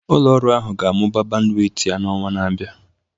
Ụlọ ọrụ ahụ ga-amụba bandwit ya n'ọnwa na-abịa